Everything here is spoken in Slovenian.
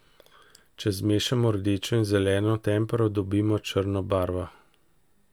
Če zmešamo rdečo in zeleno tempero, dobimo črno barvo.